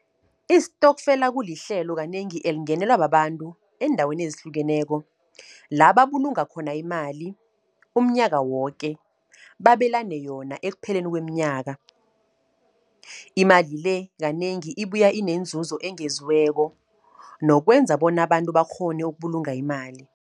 Istokfela, kulihlelo kanengi elingenelwa babantu eendaweni ezihlukeneko. La babulunga khona imali umnyaka woke. Babelane yona ekpheleni kweemnyaka. Imali le, kanengi ibuya inenzuzo engeziweko, nokwenza bona abantu bakghone ukubulunga imali.